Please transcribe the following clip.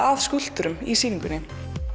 að skúlptúrum í sýningunni